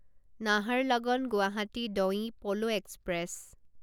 Naharlagun Guwahati Donyi Polo express